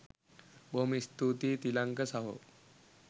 බොහොම ස්තූතියි තිලංක සහෝ